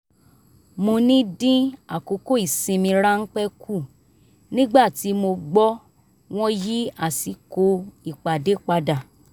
mo ní dín àkókò ìsinmi ráńpẹ́ kù nígbà tí mo gbọ́ wọ́n yí àsìkò ìpàdé padà